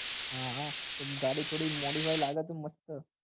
હા હા તો શું ગાડી થોડી modify લાગે તો મસ્ત